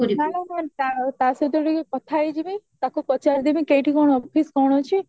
ମାନେ କଣ ତା ସହିତ ଟିକେ କଥା ହେଇଜିବି ତାକୁ ପଚାରିଦେମି କେଇଠି କଣ office କଣ ଅଛି